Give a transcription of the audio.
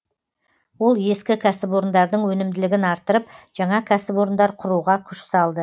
ол ескі кәсіпорындардың өнімділігін арттырып жаңа кәсіпорындар құруға күш салды